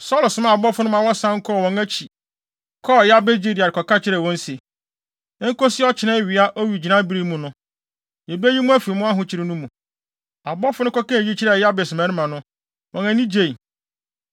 Saulo somaa abɔfo no ma wɔsan wɔn akyi kɔɔ Yabes Gilead kɔka kyerɛɛ wɔn se, “Enkosi ɔkyena awia owigyinae bere mu no, yebeyi mo afi mo ahokyere no mu.” Abɔfo no kɔka eyi kyerɛɛ Yabes mmarima no, wɔn ani gyei.